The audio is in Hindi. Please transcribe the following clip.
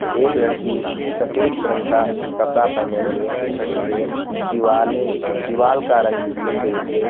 एक लड़की सफेद रंग का कपड़ा पहने हुए खड़ी है दीवाल है दीवाल का रंग सफेद है।